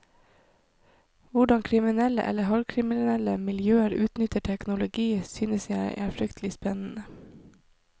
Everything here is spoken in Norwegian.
Hvordan kriminelle eller halvkriminelle miljøer utnytter teknologi, synes jeg er fryktelig spennende.